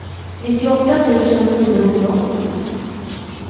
nittioåtta tusen niohundraåttio